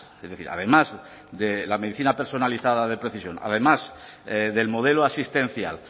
es decir además de la medicina personalizada de precisión además del modelo asistencial